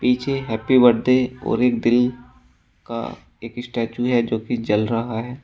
पीछे happy birthday और एक दिल का एक स्टैचू है जो कि जल रहा है।